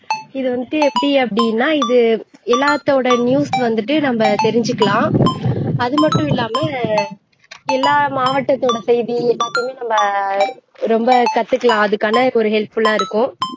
இது வந்துட்டு எப்படி அப்படின்னா இது எல்லாத்தோட news வந்துட்டு நம்ம தெரிஞ்சுக்கலாம் அது மட்டும் இல்லாம எல்லா மாவட்டத்தோட செய்தி எல்லாத்தையுமே நம்ம ரொம்ப கத்துக்கலாம் அதுக்கான ஒரு helpful ஆ இருக்கும்